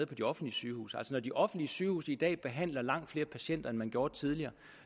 på de offentlige sygehuse når de offentlige sygehuse i dag behandler langt flere patienter end man gjorde tidligere